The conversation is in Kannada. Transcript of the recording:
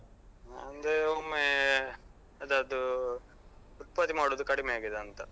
ಅಂದ್ರೆ ಒಮ್ಮೆ ಅದ್ರದ್ದು ಉತ್ಪತ್ತಿ ಮಾಡುದು ಕಡಿಮೆ ಆಗಿದಾ ಅಂತ.